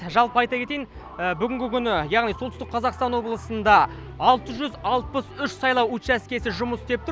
жалпы айта кетейін бүгінгі күні яғни солтүстік қазақстан облысында алты жүз алпыс үш сайлау учаскесі жұмыс істеп тұр